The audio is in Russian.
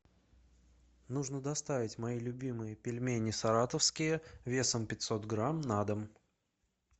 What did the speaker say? нужно доставить мои любимые пельмени саратовские весом пятьсот грамм на дом